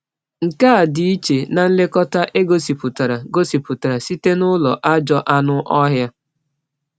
Nke a dị iche na nlekọta e gosipụtara gosipụtara site n’ụlọ ajọ anụ ọhịa.